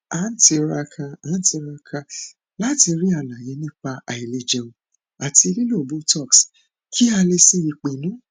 à ń tiraka à ń tiraka láti rí àlàyé nípa àìlèjẹun àti lílo botox kí a lè ṣe ìpinnu